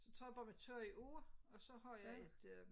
Så tager jeg bare mit tøj af og så har jeg et øh